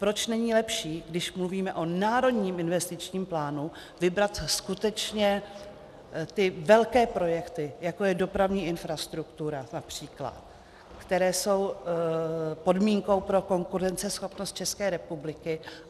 Proč není lepší, když mluvíme o národním investičním plánu, vybrat skutečně ty velké projekty, jako je dopravní infrastruktura například, které jsou podmínkou pro konkurenceschopnost České republiky?